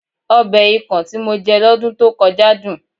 Ọbẹ̀ ikàn tí mo jẹ lọ́dún tó kọjá dùn